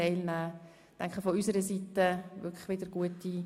Wir wünschen ihr von unserer Seite alles Gute.